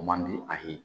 O man di a ye